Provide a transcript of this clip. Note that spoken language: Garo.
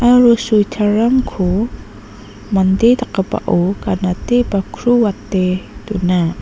aro switer rangko mande dakgipao ganate ba kruate dona.